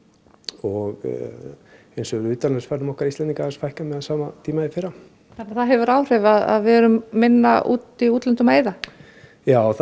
og eins hefur utanlandsferðum okkar Íslendinga aðeins fækkað miðað við sama tíma í fyrra þannig að það hefur áhrif að við erum minna úti í útlöndum að eyða já það